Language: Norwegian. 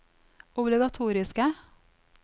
obligatoriske